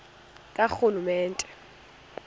karhulumente